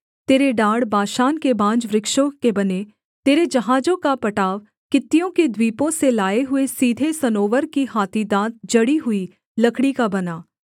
तेरे डाँड़ बाशान के बांजवृक्षों के बने तेरे जहाजों का पटाव कित्तियों के द्वीपों से लाए हुए सीधे सनोवर की हाथी दाँत जड़ी हुई लकड़ी का बना